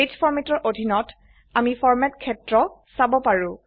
page ফৰমেটৰ অধিনত আমি ফৰমেট ক্ষেত্ৰ চাব পাৰো